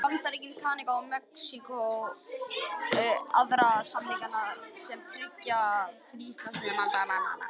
Bandaríkin, Kanada og Mexíkó eru aðilar að samningnum sem tryggir fríverslun milli landanna.